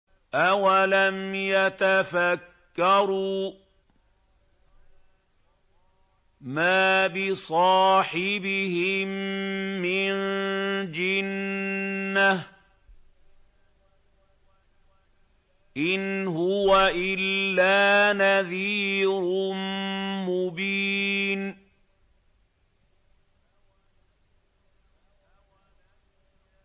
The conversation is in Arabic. أَوَلَمْ يَتَفَكَّرُوا ۗ مَا بِصَاحِبِهِم مِّن جِنَّةٍ ۚ إِنْ هُوَ إِلَّا نَذِيرٌ مُّبِينٌ